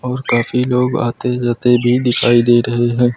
और काफी लोग आते जाते भी दिखाई दे रहे हैं।